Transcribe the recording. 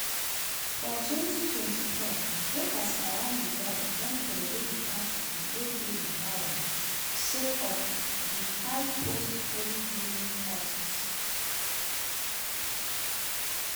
for 2024 voters around di world don throway di party wey dey in power sake of di high post-covid living costs.